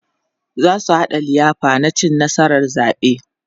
zasu haɗa liyafa na cin nasarar zaɓe